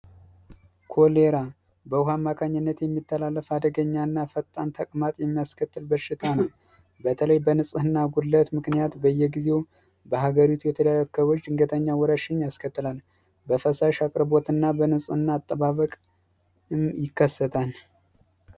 ኮሌራ በውሃ ማከኝነት የሚተላለፍ አደገኛና ፈጣን ተቅማጥ የሚያስከትል በሽታ ነው በተለይ በንጽህና ጉድለት ምክንያት በየጊዜው በሀገሪቱ ድንገተኛ ወረርሽኝ ያስከትላል በፈሳሽ አቅርቦትና ንጽህና አጠባበቅ ይከሰታል።